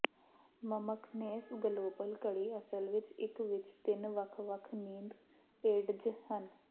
ਮਮਕਨੇਸ global ਘੜੀ ਅਸਲ ਵਿੱਚ ਇੱਕ ਵਿੱਚ ਤਿੰਨ ਵੱਖ ਵੱਖ ਨੀਂਦ ਏਡਜ ਹਨ